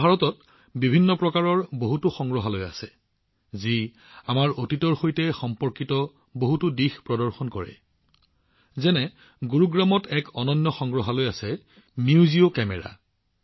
আমাৰ ভাৰতত বিভিন্ন প্ৰকাৰৰ সংগ্ৰহালয় আছে যিয়ে আমাৰ অতীতৰ সৈতে সম্পৰ্কিত বহুতো দিশ প্ৰদৰ্শন কৰে যেনে গুৰুগ্ৰামৰ এটা অনন্য সংগ্ৰহালয় আছে মিউজিঅ কেমেৰা